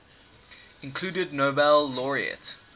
included nobel laureate